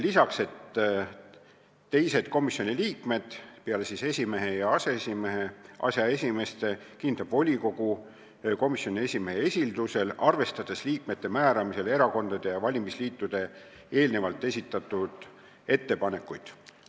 Teised komisjoni liikmed peale esimehe ja aseesimeeste kinnitab volikogu komisjoni esimehe esildusel, arvestades liikmete määramisel erakondade ja valimisliitude eelnevalt esitatud ettepanekuid.